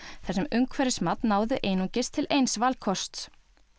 þar sem umhverfismat náði einungis til eins valkosts